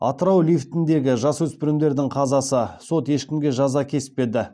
атырау лифтіндегі жасөспірімдердің қазасы сот ешкімге жаза кеспеді